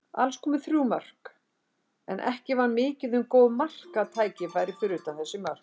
Alls komu þrjú mörk, en ekki var mikið um góð marktækifæri fyrir utan þessi mörk.